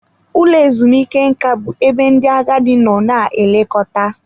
Ụlọ ezumike nka bụ ebe ndị agadi nọ na-elekọta.